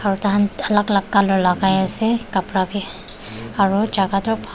oh tah khan alag alag colour lagai ase kapra bhi aru jaga toh bha--